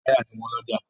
Táyà ti wọ́n lọ́jà.